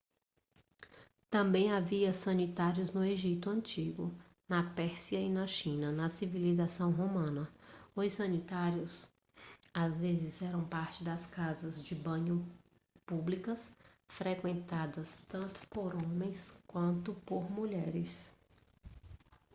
também havia sanitários no egito antigo na pérsia e na china na civilização romana os sanitários às vezes eram parte das casas de banho públicas frequentadas tanto por homens quanto por mulheres